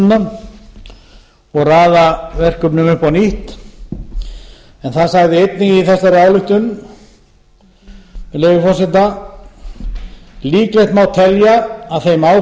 endurskoða áætlunina og raða verkefnum upp á nýtt en það sagði einnig í þessari ályktun með leyfi forseta líklegt má telja að í þeim